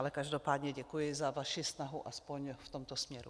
Ale každopádně děkuji za vaši snahu aspoň v tomto směru.